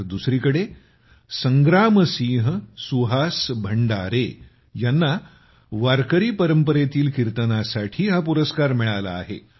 तर दुसरीकडे संग्रामसिंह सुहास भंडारे यांना वारकरी परंपरेतील कीर्तनासाठी हा पुरस्कार मिळाला आहे